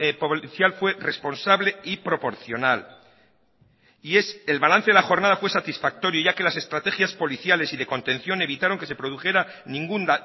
policial fue responsable y proporcional y el balance de la jornada fue satisfactoria ya que las estrategias policiales y de contención evitaron que se produjera ningún